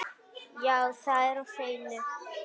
Já, það er á hreinu.